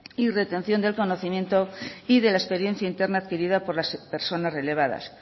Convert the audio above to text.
y retención del conocimiento y de la experiencia interna adquirida por las personas relevadas